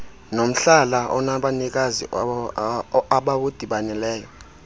nomhlala onabanikazi abawudibaneleyo